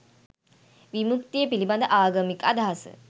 විමුක්තිය පිළිබඳ ආගමික අදහස